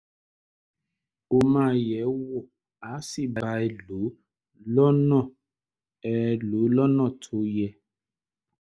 ó máa yẹ ẹ́ wò á sì bá ẹ lò lọ́nà ẹ lò lọ́nà tó yẹ